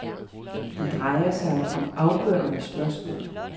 Det drejer sig om afgørende spørgsmål.